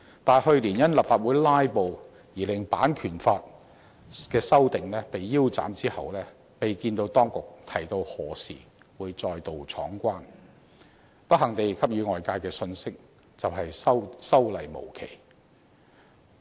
但去年因立法會"拉布"而令版權法的修訂被腰斬，其後未見到當局提及何時會再度闖關，給予外界的信息是修例無期，十分不幸。